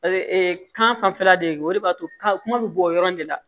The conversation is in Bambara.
kanfɛla de o de b'a to kuma bɛ bɔ o yɔrɔ in de la